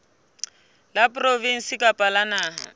la provinse kapa la naha